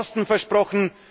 Wurden Posten versprochen?